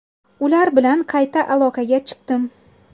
Ular bilan qayta aloqaga chiqdim.